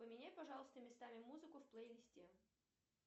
поменяй пожалуйста местами музыку в плейлисте